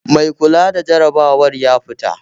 Mai kula da jarabawar ya fita